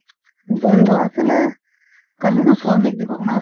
বন্ধ আছিলে কালিতো শ্ৰমিক দিৱস না